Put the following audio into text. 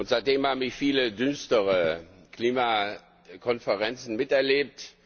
Seitdem habe ich viele düstere Klimakonferenzen miterlebt.